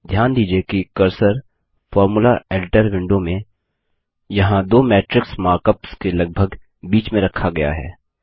ध्यान दीजिये कि कर्सर फोर्मुला एडिटर विंडो में यहाँ दो मैट्रिक्स मार्क अप्स के लगभग बीच में रखा गया है